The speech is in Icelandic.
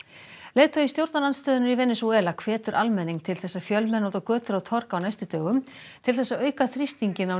leiðtogi stjórnarandstöðunnar í Venesúela hvetur almenning til þess að fjölmenna út á götur og torg á næstu dögum til þess að auka þrýstinginn á